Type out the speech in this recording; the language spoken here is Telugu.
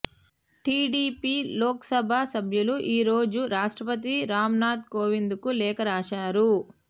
టీడీపీ లోక్ సభ సభ్యులు ఈరోజు రాష్ట్రపతి రామ్ నాథ్ కోవింద్ కు లేఖ రాశారు